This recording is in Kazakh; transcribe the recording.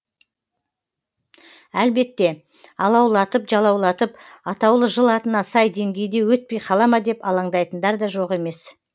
әлбетте алаулатып жалаулатып атаулы жыл атына сай деңгейде өтпей қала ма деп алаңдайтындар да жоқ емес